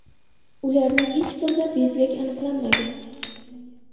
Ularning hech birida bezgak aniqlanmagan.